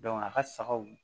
a ka sagaw